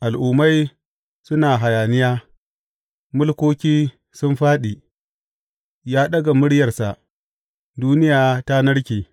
Al’ummai suna hayaniya, mulkoki sun fāɗi; ya ɗaga muryarsa, duniya ta narke.